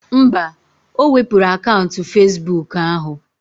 Mba, o wepuru akaụntụ Fezbuk ahụ